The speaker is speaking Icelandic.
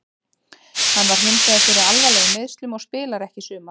Hann varð hinsvegar fyrir alvarlegum meiðslum og spilar ekki í sumar.